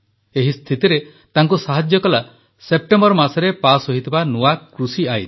ଏହି ସ୍ଥିତିରେ ତାଙ୍କୁ ସାହାଯ୍ୟ କଲା ସେପ୍ଟେମ୍ବର ମାସରେ ପାସ୍ ହୋଇଥିବା ନୂଆ କୃଷି ଆଇନ